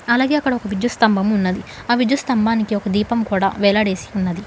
అలాగే అక్కడ ఒక విద్యుత్ స్తంభము ఉన్నది ఆ విద్యుత్ స్తంబానికి ఒక దీపం కూడా వేలాడేసి ఉన్నది.